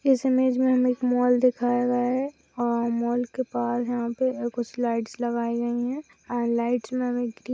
इस इमेज में हमें एक मॉल दिखाया गया है और मॉल के पास यहाँ पे कुछ लाइट्स लगाई गई हैं लाइट्स में भी गृ --